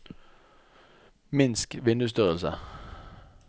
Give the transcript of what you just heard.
minsk vindusstørrelse